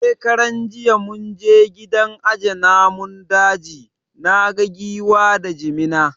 Shekaran jiya mun je gidan aje namun daji, naga Giwa da Jimina